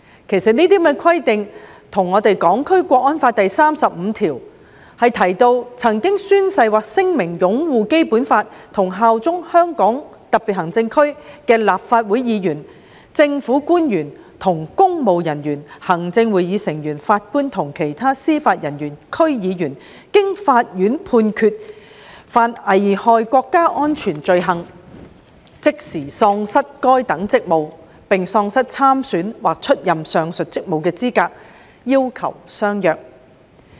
其實，這些規定跟《香港國安法》第三十五條中有關曾經宣誓或聲明擁護《基本法》和效忠香港特別行政區的立法會議員、政府官員及公務人員、行政會議成員、法官及其他司法人員、區議員，經法院判決犯危害國家安全罪行，即時喪失該等職務，並喪失參選或出任上述職務的資格的要求相若。